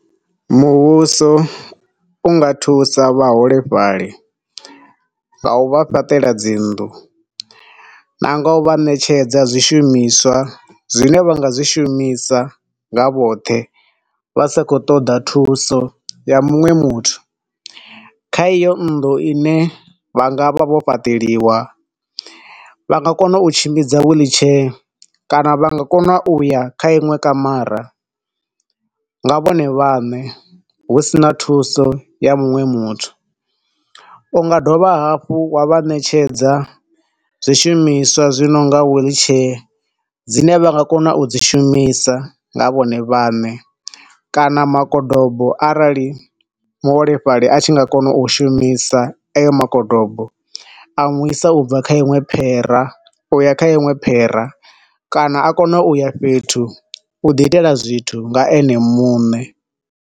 Muvhuso unga thusa vhaholefhali nga u vha fhaṱela dzinnḓu na u nga vha ṋetshedza zwi shumiswa zwine vha nga zwi shumisa nga vhoṱhe vha sa khou ṱoḓa thuso ya muṅwe muthu. Kha iyo nnḓu ine vha nga vha vho fhaṱeliwa nga nga kona u tshimbidza wheelchair kana vha nga kona u ya kha inwe kamara nga vhone vhaṋe husina thuso ya muṅwe muthu. Unga dovha hafhu wa vha ṋetshedza zwi shumiswa zwi nonga wheel chair dzine vha nga kona u dzi shumisa nga vhone vhaṋe kana makodobo arali muholefhali a tshi nga kona u shumisa ayo makobodo a muisa ubva kha iṅwe phera ubva kha iṅwe phera, kana a kone u ya hunwe fhethu u ḓi itela zwithu nga ene muṋe.